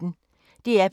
DR P1